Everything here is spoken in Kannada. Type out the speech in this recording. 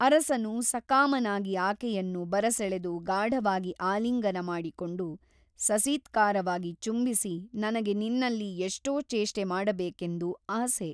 ಅರಸನು ಸಕಾಮನಾಗಿ ಆಕೆಯನ್ನು ಬರಸೆಳೆದು ಗಾಢವಾಗಿ ಆಲಿಂಗನ ಮಾಡಿಕೊಂಡು ಸಸೀತ್ಕಾರವಾಗಿ ಚುಂಬಿಸಿ ನನಗೆ ನಿನ್ನಲ್ಲಿ ಎಷ್ಟೋ ಚೇಷ್ಟೆ ಮಾಡಬೇಕೆಂದು ಆಸೆ.